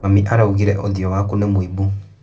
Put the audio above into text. Mami araugire ũthio waku nĩ mũimbu.